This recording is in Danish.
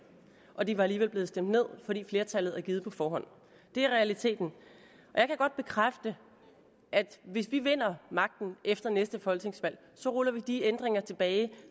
og de var alligevel blevet stemt ned fordi flertallet er givet på forhånd det er realiteten jeg kan godt bekræfte at hvis vi vinder magten efter næste folketingsvalg ruller vi de ændringer tilbage